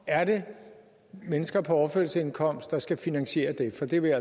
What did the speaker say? er det mennesker på overførselsindkomst at der skal finansiere det for det vil